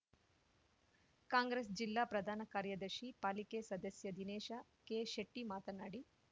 ಕಾಂಗ್ರೆಸ್‌ ಜಿಲ್ಲಾ ಪ್ರಧಾನ ಕಾರ್ಯದರ್ಶಿ ಪಾಲಿಕೆ ಸದಸ್ಯ ದಿನೇಶ ಕೆಶೆಟ್ಟಿಮಾತನಾಡಿ